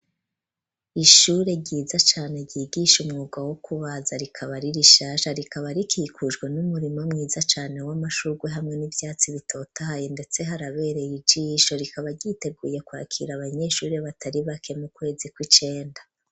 ishure ryiza cane ryigishe umwuga wo kubaza rikaba iri rishasha rikaba rikikujwe n'umurimo mwiza cane w'amashurwe hamwe n'ivyatsi bitotahaye ndetse harabereye ijisho rikaba ryiteguye kwakira abanyeshuri batari bake mu kwezi kw'icenda.